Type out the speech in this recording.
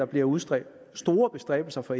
bliver udfoldet store bestræbelser fra